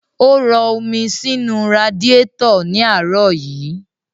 Ó rọ omi sínu radiétọ̀ ní àárọ̀ yí.